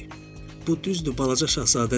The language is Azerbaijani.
Bu düzdür, balaca şahzadə dedi.